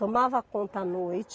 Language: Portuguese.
Tomava conta à noite.